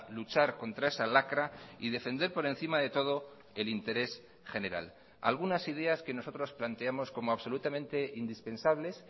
luchar contra esa lacra y defender por encima de todo el interés general algunas ideas que nosotros planteamos como absolutamente indispensables